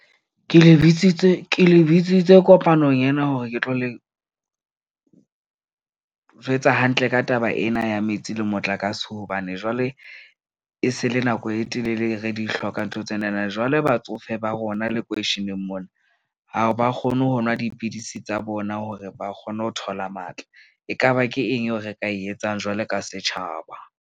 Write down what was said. Ke le bitsitse kopanong ena hore ke tlo le jwetsa hantle ka taba ena ya metsi le motlakase. Hobane jwale e se le nako e telele re di hloka ntho tsenana, jwale batsofe ba rona lekweisheneng mona ha ba kgone ho nwa dipidisi tsa bona hore ba kgone ho thola matla. Ekaba ke eng eo re ka e etsang jwalo ka setjhaba?